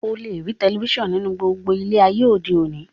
O le rí telifísàn nínú gbogbo ilé e ayé òde òní